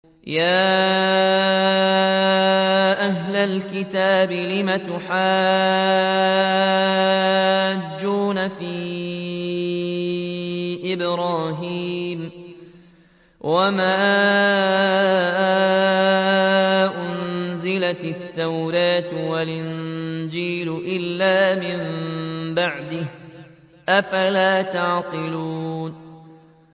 يَا أَهْلَ الْكِتَابِ لِمَ تُحَاجُّونَ فِي إِبْرَاهِيمَ وَمَا أُنزِلَتِ التَّوْرَاةُ وَالْإِنجِيلُ إِلَّا مِن بَعْدِهِ ۚ أَفَلَا تَعْقِلُونَ